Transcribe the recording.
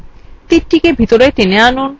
তীরটিকে ভেতরে টেনে আনুন